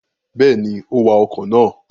Bẹ́ẹ̀ni, ó wa ọkọ̀ náà.